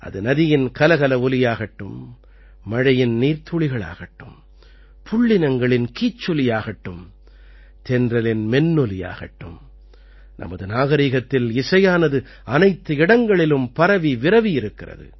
அது நதியின் கலகல ஒலியாகட்டும் மழையின் நீர்த்துளிகளாகட்டும் புள்ளினங்களின் கீச்சொலியாகட்டும் தென்றலின் மென்னொலியாகட்டும் நமது நாகரீகத்தில் இசையானது அனைத்து இடங்களிலும் பரவி விரவி இருக்கிறது